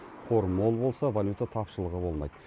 қор мол болса валюта тапшылығы болмайды